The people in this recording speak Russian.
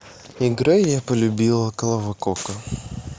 играй я полюбила клава кока